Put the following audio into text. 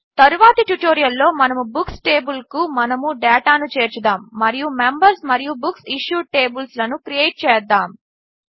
తరువాతి ట్యుటోరియల్లో మనము బుక్స్ టేబిల్కు మనము డేటాను చేర్చుదాము మరియు మెంబర్స్ మరియు బుక్సిష్యూడ్ టేబిల్స్లను క్రియేట్ చేద్దాము